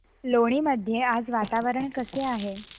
लोणी मध्ये आज वातावरण कसे आहे